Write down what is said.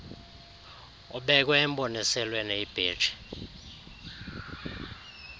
ubeke emboniselweni ibheji